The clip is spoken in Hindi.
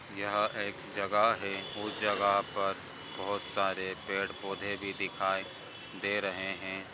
यहाँ एक जगह है उस जगह पर बोहोत सारे पेड़-पौधे भी दिखाई दे रहे हैं।